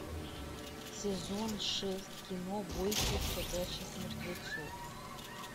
сезон шесть кино бойтесь ходячих мертвецов